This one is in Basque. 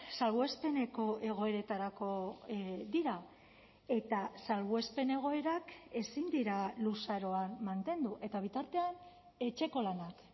salbuespeneko egoeretarako dira eta salbuespen egoerak ezin dira luzaroan mantendu eta bitartean etxeko lanak